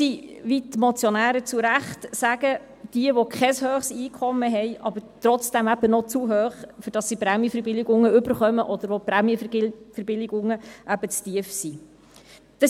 Wie die Motionäre zu Recht sagen, sind es diejenigen, die kein hohes Einkommen haben, aber trotzdem ein zu hohes Einkommen, um Prämienverbilligungen zu erhalten, oder Leute, deren Prämienverbilligungen zu tief sind.